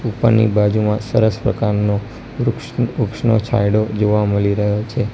ઉપરની બાજુમાં સરસ પ્રકારનો વૃક્ષ વૃક્ષનો છાંયડો જોવા મલી રહ્યો છે.